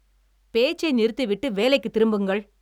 பேச்சை நிறுத்திவிட்டு வேலைக்குத் திரும்புங்கள்!